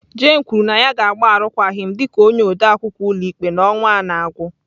Jane kwuru na ya ga-agba arụkwaghịm dị ka onye odeakwụkwọ ụlọikpe n'ọnwa a na-agwụ.